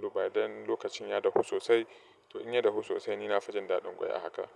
To by then lokacin ya dahu sosai, to in ya dagu sosai ni na fi jin daɗin ƙwai a haka.